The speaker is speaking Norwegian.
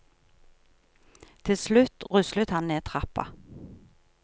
Til slutt ruslet han ned trappa.